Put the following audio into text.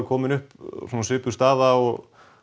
komið upp svipuð staða og